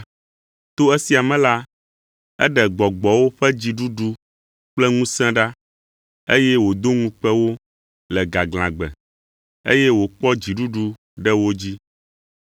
To esia me la, eɖe gbɔgbɔwo ƒe dziɖuɖu kple ŋusẽ ɖa, eye wòdo ŋukpe wo le gaglãgbe, eye wòkpɔ dziɖuɖu ɖe wo dzi.